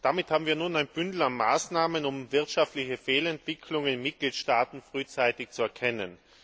Damit haben wir ein Bündel an Maßnahmen, um wirtschaftliche Fehlentwicklungen in Mitgliedstaaten frühzeitig zu erkennen.